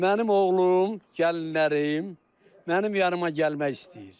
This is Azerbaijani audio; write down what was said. Mənim oğlum, gəlinlərim mənim yanıma gəlmək istəyir.